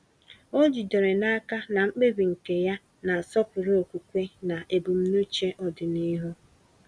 Ọ jidere n’aka na mkpebi nke ya na-asọpụrụ okwukwe na ebumnuche ọdịnihu.